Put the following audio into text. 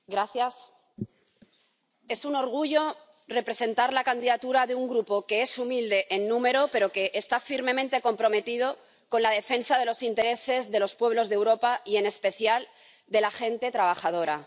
Señor presidente, es un orgullo representar la candidatura de un Grupo que es humilde en número pero que está firmemente comprometido con la defensa de los intereses de los pueblos de Europa y, en especial, de la gente trabajadora.